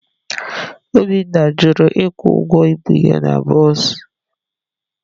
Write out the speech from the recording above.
Obinna jụrụ ịkwụ ụgwọ ibu ya na bọs